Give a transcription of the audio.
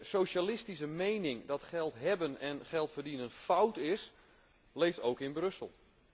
En de socialistische mening dat geld hebben en geld verdienen fout is, leeft ook in Brussel.